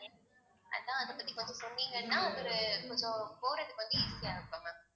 அதான் அதைப்பத்தி கொஞ்சம் சொன்னீங்கன்னா ஒரு கொஞ்சம் போறதுக்கு வந்து easy யா இருக்கும் ma'am